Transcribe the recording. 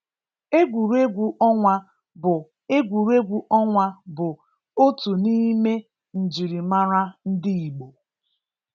Egwuregwu ọnwa bụ Egwuregwu ọnwa bụ otu n’ime njirimara ndị Igbo.